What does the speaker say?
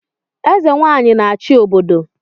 Eze Nwanyị a-achị obodo